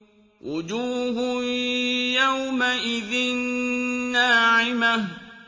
وُجُوهٌ يَوْمَئِذٍ نَّاعِمَةٌ